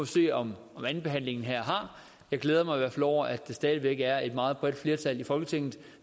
se om andenbehandlingen her er jeg glæder mig i hvert fald over at det stadig væk er et meget bredt flertal i folketinget